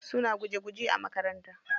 Suna guje guje a makaranta.